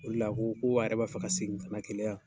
O de la a ko ko ale yɛrɛ b'a fɛ ka segin ka na KELEYA yan.